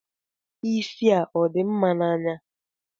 Isi a ọ dị mma n'anya?